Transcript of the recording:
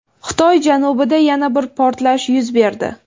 Xitoy janubida yana bir portlash yuz berdi.